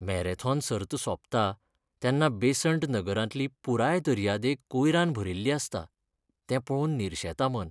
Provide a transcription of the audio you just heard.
Marathon सर्त सोंपता तेन्ना बेसंट नगरांतली पुराय दर्यादेग कोयरान भरिल्ली आसता, तें पळोवन निरशेता मन.